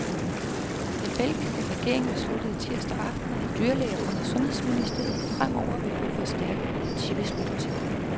Den belgiske regering besluttede tirsdag aften, at dyrlæger under sundhedsministeriet fremover vil få forstærket politibeskyttelse.